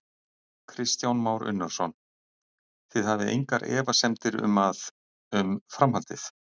Kristján Már Unnarsson: Þið hafið engar efasemdir um að, um framhaldið?